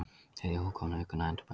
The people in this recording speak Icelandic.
Þriðja útgáfa, aukin og endurbætt.